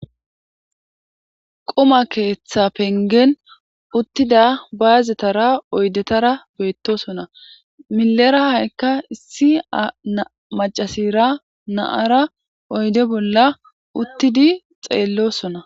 qoma keeththa pengen uttida baazetara oydetara beettosona milera haykka issi macasira naara oyde bolla uttidi xeellosona